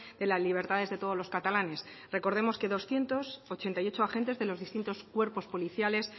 de las libertades de todos los catalanes recordemos que doscientos ochenta y ocho agentes de los distintos cuerpos policiales